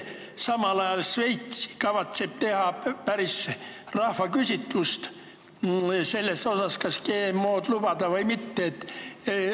Šveits kavatseb teha lausa rahvaküsitluse, kas GMO-d lubada või mitte.